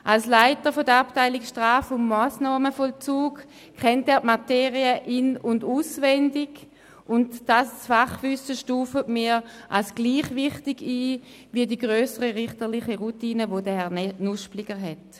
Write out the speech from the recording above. Als Leiter der Abteilung Straf- und Massnahmenvollzug kennt er die Materie in- und auswendig, und das Fachwissen stufen wir als gleichwertig ein wie die grössere richterliche Routine, über die Herr Nuspliger verfügt.